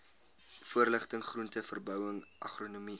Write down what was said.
voorligting groenteverbouing agronomie